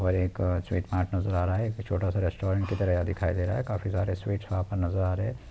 और एक sweet mart नजर आ रहा है एक छोटा-सा रेस्टोरेंट की तरह दिखाई दे रहा है काफी सारे स्वीट्स वहाँ पे नजर आ रहे हैं।